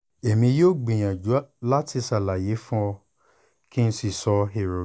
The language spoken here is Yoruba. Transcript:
èmi yóò gbìyànjú láti ṣàlàyé fún ọ kí n sì sọ èrò mi